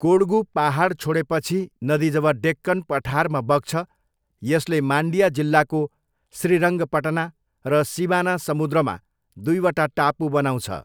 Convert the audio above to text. कोडगू पाहाड छोडेपछि नदी जब डेक्कन पठारमा बग्छ यसले मान्डिया जिल्लाको श्रीरङ्गपटना र शिवानासमुद्रमा दुईवटा टापु बनाउँछ।